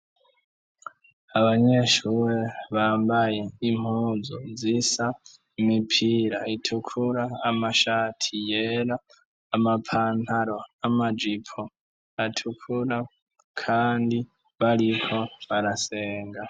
Abanyeshure Bambaye impuzu zisa imipira utukura amashati yera amapantaro amajipo atukura Kandi bariko barasenga.